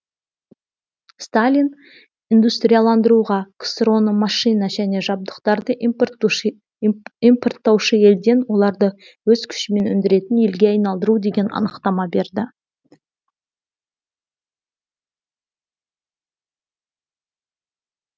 сталин индустрияландыруға ксро ны машина және жабдықтарды импорттаушы елден оларды өз күшімен өндіретін елге айналдыру деген анықтама берді